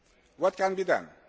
What can be done?